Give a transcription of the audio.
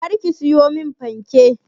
Kar ka siyo min fanke.